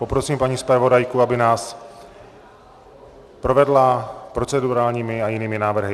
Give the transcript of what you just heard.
Poprosím paní zpravodajku, aby nás provedla procedurálními a jinými návrhy.